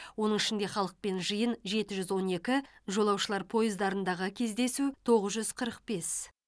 оның ішінде халықпен жиын жеті жүз он екі жолаушылар пойыздарындағы кездесу тоғыз жүз қырық бес